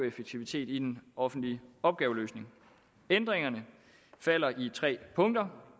effektivitet i den offentlige opgaveløsning ændringerne falder i tre punkter